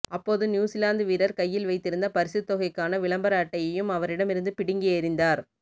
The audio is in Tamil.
அப்போது நியூசிலாந்து வீரர் கையில் வைத்திருந்த பரிசுத்தொகைக்கான விளம்பர அட்டையையும் அவரிடமிருந்து பிடுங்கி எறிந்தார்